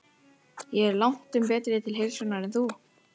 Ég er langtum betri til heilsunnar en þú.